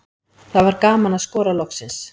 Það var gaman að skora loksins.